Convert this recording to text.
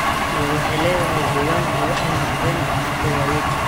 iyo waxyeelada deegaanku waxay noqdeen caqabado waaweyn.